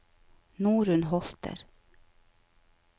Norunn Holter